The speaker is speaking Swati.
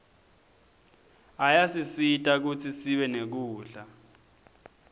ayasisita kutsi sibe nekudla